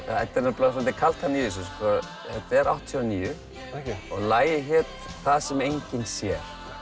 þetta er svolítil kaldhæðni í þessu þetta er áttatíu og níu og lagið hét það sem enginn sér